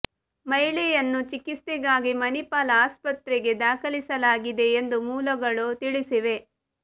ಮಹಿಳೆ ಯನ್ನು ಚಿಕಿತ್ಸೆಗಾಗಿ ಮಣಿಪಾಲ ಆಸ್ಪತ್ರೆಗೆ ದಾಖಲಿಸಲಾಗಿದೆ ಎಂದು ಮೂಲ ಗಳು ತಿಳಿಸಿವೆ